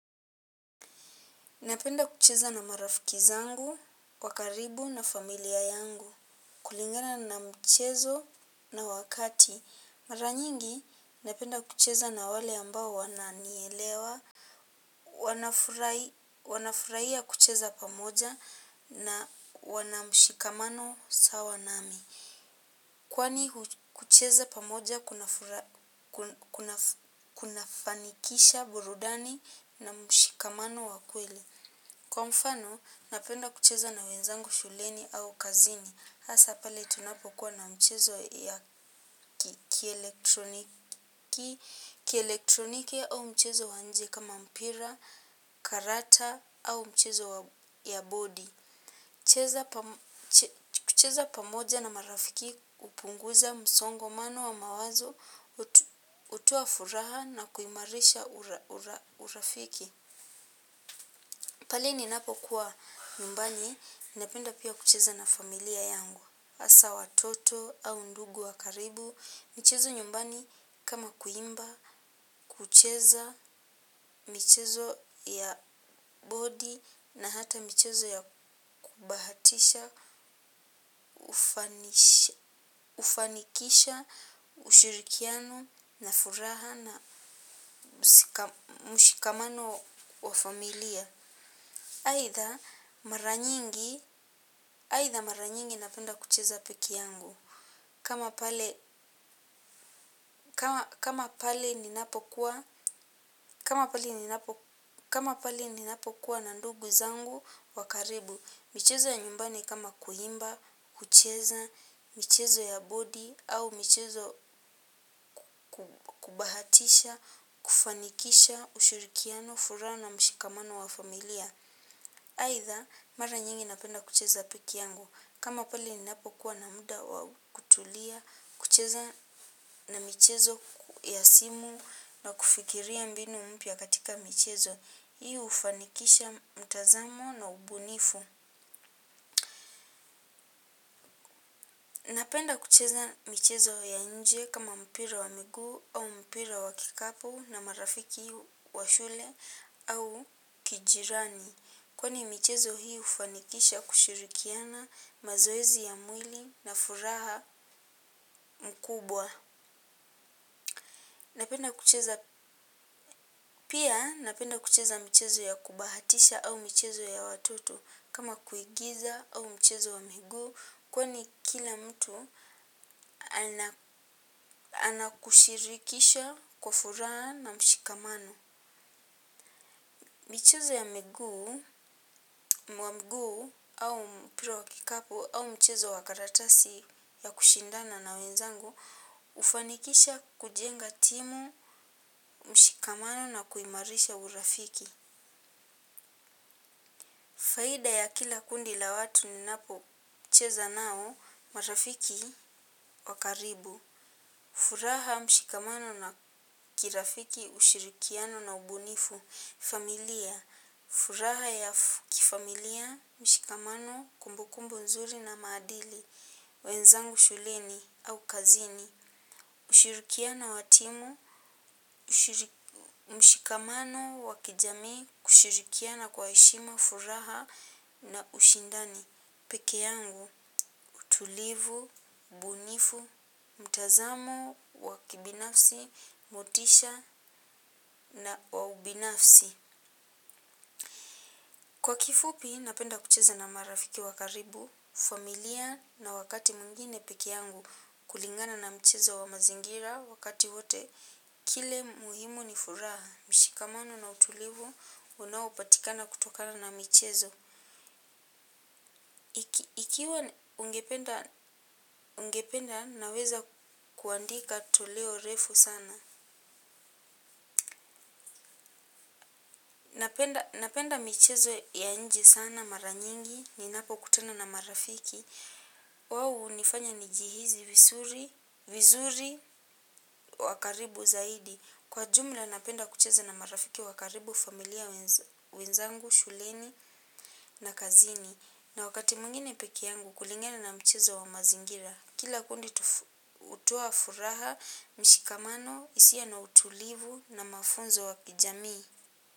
Napenda kucheza na marafiki zangu wa karibu na familia yangu. Kulingana na mchezo na wakati. Mara nyingi napenda kucheza na wale wananielewa. Wanafurahia kucheza pamoja na wanamshikamano sawa nami. Kwani kucheza pamoja kunafanikisha burudani na mshikamano wa kweli. Kwa mfano, napenda kucheza na wenzangu shuleni au kazini. Hasa pale tunapokuwa na mchezo ya kielektroniki au mchezo wa nje kama mpira, karata au mchezo ya bodi. Kucheza pamoja na marafiki hupunguza msongomano wa mawazo, hotoa furaha na kuimarisha urafiki. Pale ninapokuwa nyumbani napenda pia kucheza na familia, hasa watoto au ndugu wa karibu. Michezo ya nyumbani kama kuimba, kucheza michezo ya bodi na hata michezo ya kubahatisha, hufanikisha ushirikiano na furaha na mshikamano wa familia. Aitha aitha mara nyingi napenda kucheza peke yangu. Kama pale kama pale ninapokuwa na ndugu zangu wa karibu. Michezo ya nyumbani kama kuimba, kucheza michezo ya bodi, au michezo kubahatisha, kufanikisha ushurikiano, furaha na mshikamano wa familia. Aitha, mara nyingi napenda kucheza peke yangu. Kama pale ninapokuwa na muda wa kutulia, kucheza na michezo ya simu na kufikiria mbinu mpya katika michezo. Hii hufanikisha mtazamo na ubunifu. Napenda kucheza michezo ya nje kama mpira wa miguu au mpira wa kikapu na marafiki wa shule au jirani, kwani michezo hii hufanikisha kushirikiana, mazoezi ya mwili na furaha mkubwa. Napenda kucheza. Pia napenda kucheza michezo ya kubahatisha au mchezo ya watoto kama kuigiza au mchezo wa miguu kwani kila mtu anakushirikisha kwa furaha na mshikamano. Michezo ya miguu au mpira wa kikapu au mchezo wa karatasi ya kushindana na wenzangu hufanikisha kujenga timu, mshikamano na kuimarisha urafiki. Faida ya kila kundi la watu ninapo cheza nao. Marafiki wakaribu. Furaha mshikamano na kirafiki ushirikiano na ubunifu. Familia. Furaha ya kifamilia, mshikamano, kumbukumbu nzuri na maadili, wenzangu shuleni au kazini. Ushirikiano wa timu, mshikamano wa kijamii, kushirikiana kwa heshima furaha na ushindani. Peke yangu, tulivu, bunifu, mtazamo, wa kibinafsi, motisha na wa ubinafsi. Kwa kifupi, napenda kucheza na marafiki wa karibu, familia na wakati mwingine peke yangu. Kulingana na mchezo wa mazingira wakati wote. Kile muhimu ni furaha, mshikamano na utulivu, unaopatikana kutokana na michezo. Ikiwa ungependa naweza kuandika toleo refu sana. Napenda michezo ya nje sana mara nyingi ninapo kutana na marafiki. Wao hunifanya nijihisi vizuri, wa karibu zaidi. Kwa jumla napenda kucheza na marafiki wakaribu, familia, wenzangu shuleni na kazini. Na wakati mwingine peke yangu kulingana na mchezo wa mazingira. Kila kundi hutoa furaha, mshikamano, hisia na utulivu na mafunzo ya kijamii.